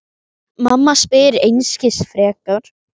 Mamma spyr einskis frekar.